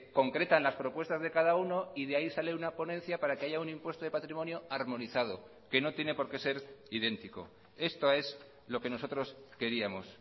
concretan las propuestas de cada uno y de ahí sale una ponencia para que haya un impuesto de patrimonio armonizado que no tiene por qué ser idéntico esto es lo que nosotros queríamos